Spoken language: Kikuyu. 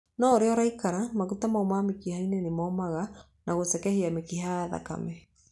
O ũrĩa ũraikara, maguta mau me mĩkiha-inĩ nĩ momaga na gũcekehia mĩkiha ya thakame.